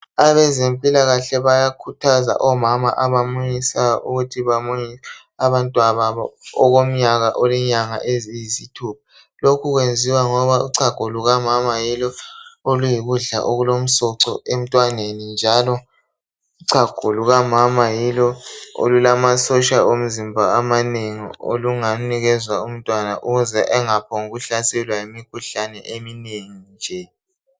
Abezempilakahle bayakhuthaza omama abamunyisayo ukuthi bamunyise abantwababo okomnyaka olenyanga eziyisithupha lokhu kwenziwa ngoba uchago lukamama yilo oluyikudla okulomsoco emntwaneni njalo uchago lukamama yilo olulamasotsha omzimba amanengi olungaphiwa umntwana ukuze engaphongu hlaselwa yimikhuhlane eminengi nje.